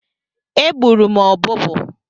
Egburu m ọbụbụụ.